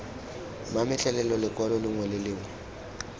mametlelelo lekwalo lengwe le lengwe